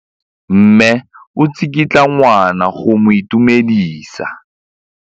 Mme o tsikitla ngwana go mo itumedisa.